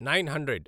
nine hundred